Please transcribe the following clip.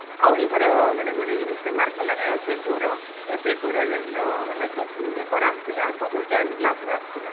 ଆଉ ଏଇ ଥର ମାନେ ଗୋଟେ ଜିନିଷ କେ mark କଲେକେ eighty two ର eighty two ର ଯେଉଁ ନ ମାନେ question paper ଆସିଥିଲା ସବୁ ten class ର ଆସିଥିଲା